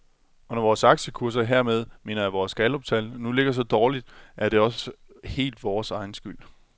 Og når vores aktiekurser, hermed mener jeg vores galluptal, nu ligger så dårligt, er det også helt vores egen skyld.